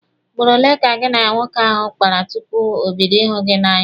Ugboro ole ka gị na nwoke ahụ kpara tupu o bido ịhụ gị n'anya?